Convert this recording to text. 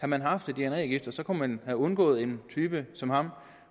man haft et dna register kunne man have undgået at en type som ham